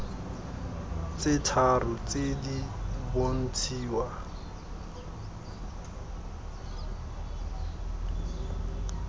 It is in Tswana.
tse tharo tse di bontshiwa